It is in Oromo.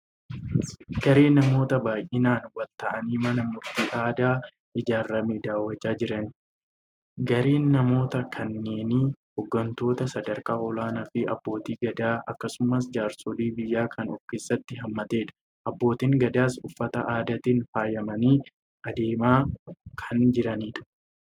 Garee namoota baay'inaan waliin ta'anii mana murtii aadaa ijaarame daawwachaa jiranii. Gareen namoota kanneenii hooggantoota sadarkaa olaanaa fi abbootii gadaa akkasumas jaarsolii biyyaa kan ofkeessatti haammatedha. Abbootiin gadaas uffata aadaatiin faayamanii adeemaa kan jiranidha.